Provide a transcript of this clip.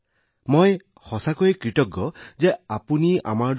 আপুনি আমাৰ দৰে মানুহক কেনেকৈ বিচাৰি উলিয়ায় তাৰবাবে মই সঁচাকৈয়ে কৃতজ্ঞ